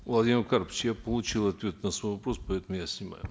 владимир карпович я получил ответ на свой вопрос поэтому я снимаю